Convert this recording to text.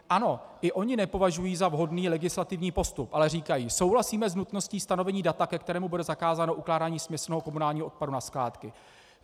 Ano, i oni nepovažují za vhodný legislativní postup, ale říkají: "Souhlasíme s nutností stanovení data, ke kterému bude zakázáno ukládání směsného komunálního odpadu na skládky.